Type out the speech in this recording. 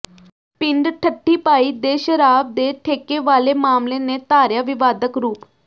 ਪਿੰਡ ਠੱਠੀ ਭਾਈ ਦੇ ਸ਼ਰਾਬ ਦੇ ਠੇਕੇ ਵਾਲੇ ਮਾਮਲੇ ਨੇ ਧਾਰਿਆ ਵਿਵਾਦਕ ਰੂਪ